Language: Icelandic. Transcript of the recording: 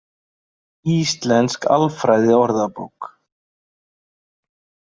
Íslensk alfræðiorðabók.